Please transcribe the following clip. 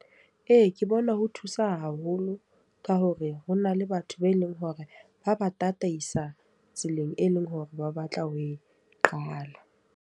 Ee, ke bona ho thusa haholo. Ka hore ho na le batho be leng hore ba ba tataisa tseleng e leng hore ba batla ho e qala.